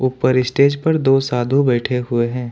ऊपर स्टेज पर दो साधु बैठे हुए हैं।